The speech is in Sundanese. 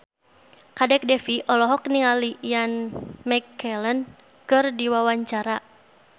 Kadek Devi olohok ningali Ian McKellen keur diwawancara